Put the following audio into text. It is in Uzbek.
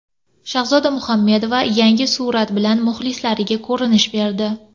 Shahzoda Muhammedova yangi surat bilan muxlislariga ko‘rinish berdi.